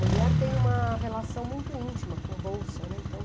Mulher tem uma relação muito íntima com bolsa, né. Então